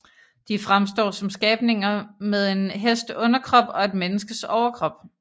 De fremstår som skabninger med en hests underkrop og et menneskes overkrop